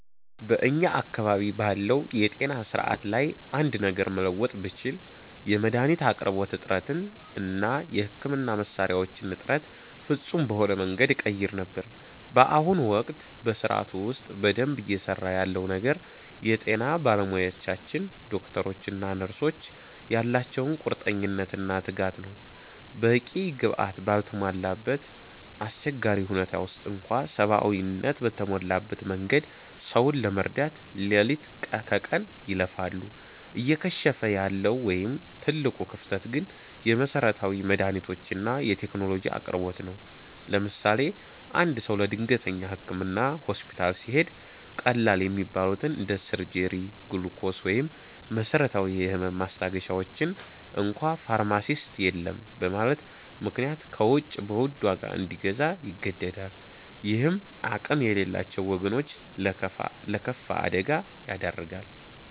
በእኛ አካባቢ ባለው የጤና ሥርዓት ላይ አንድ ነገር መለወጥ ብችል፣ የመድኃኒት አቅርቦት እጥረትን እና የሕክምና መሣሪያዎችን እጥረት ፍጹም በሆነ መንገድ እቀይር ነበር። በአሁኑ ወቅት በሥርዓቱ ውስጥ በደንብ እየሠራ ያለው ነገር የጤና ባለሙያዎቻችን (ዶክተሮች እና ነርሶች) ያላቸው ቁርጠኝነትና ትጋት ነው። በቂ ግብዓት ባልተሟላበት አስቸጋሪ ሁኔታ ውስጥ እንኳ ሰብአዊነት በተሞላበት መንገድ ሰውን ለመርዳት ሌሊት ከቀን ይለፋሉ። እየከሸፈ ያለው ወይም ትልቁ ክፍተት ግን የመሠረታዊ መድኃኒቶችና የቴክኖሎጂ አቅርቦት ነው። ለምሳሌ፦ አንድ ሰው ለድንገተኛ ሕክምና ሆስፒታል ሲሄድ፣ ቀላል የሚባሉትን እንደ ሲሪንጅ፣ ግሉኮስ ወይም መሰረታዊ የህመም ማስታገሻዎችን እንኳ ፋርማሲስት የለም በማለቱ ምክንያት ከውጭ በውድ ዋጋ እንዲገዛ ይገደዳል። ይህም አቅም የሌላቸውን ወገኖች ለከፋ አደጋ ይዳርጋል።